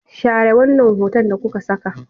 Share wannan hoton da kuka saka!